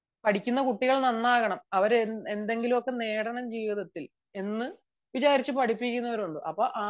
പഠിക്കുന്ന കുട്ടികൾ നന്നാവണം അവർ എന്തെങ്കിലുമൊക്കെ നേടണം ജീവിതത്തിൽ എന്ന് വിചാരിച്ചു പഠിപ്പിക്കുന്നവരും ഉണ്ട്